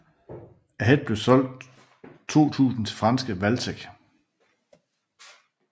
Ahead blev solgt 2000 til franske Valtech